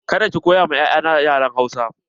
Ka da ki koya ma 'ya'ya na yaren Hausa!